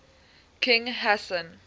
king hassan